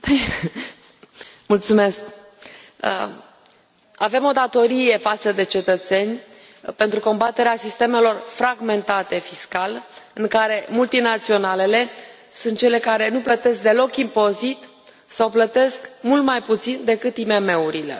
Doamnă președintă, avem o datorie față de cetățeni pentru combaterea sistemelor fragmentate fiscal, în care multinaționalele sunt cele care nu plătesc deloc impozit sau plătesc mult mai puțin decât IMM urile.